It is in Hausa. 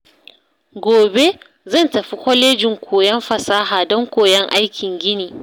Gobe, zan tafi Kwalejin Koyon Fasaha don koyon aikin gini.